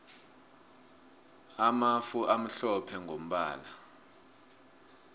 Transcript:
amafu amhlophe mgombala